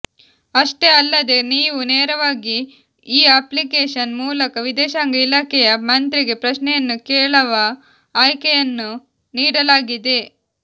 ಅಷ್ಟೇ ಅಲ್ಲದೇ ನೀವು ನೇರವಾಗಿ ಈ ಅಪ್ಲಿಕೇಶನ್ ಮೂಲಕ ವಿದೇಶಾಂಗ ಇಲಾಖೆಯ ಮಂತ್ರಿಗೆ ಪ್ರಶ್ನೆಯನ್ನು ಕೇಳವ ಆಯ್ಕೆಯನ್ನು ನೀಡಲಾಗಿದೆ